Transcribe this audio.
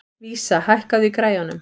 Vísa, hækkaðu í græjunum.